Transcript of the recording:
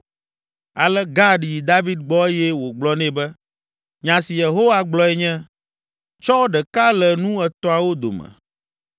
Ale Gad yi David gbɔ eye wògblɔ nɛ be, “Nya si Yehowa gblɔe nye, ‘Tsɔ ɖeka le nu etɔ̃awo dome.